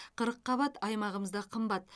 қырыққабат аймағымызда қымбат